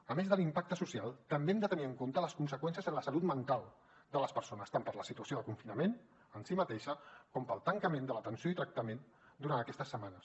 a més de l’impacte social també hem de tenir en compte les conseqüències en la salut mental de les persones tant per la situació de confinament en si mateixa com pel tancament de l’atenció i tractament durant aquestes setmanes